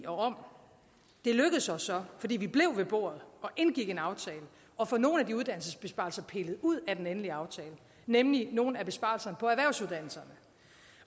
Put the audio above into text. om det lykkedes os så fordi vi blev ved bordet og indgik en aftale at få nogle af de uddannelsesbesparelser pillet ud af den endelige aftale nemlig nogle af besparelserne på erhvervsuddannelserne